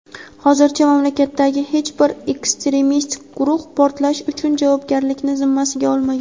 Hozircha mamlakatdagi hech bir ekstremistik guruh portlash uchun javobgarlikni zimmasiga olmagan.